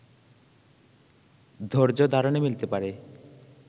ধৈর্যধারণে মিলতে পারে